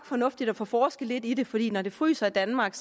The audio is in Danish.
fornuftigt at få forsket lidt i det fordi når det fryser i danmark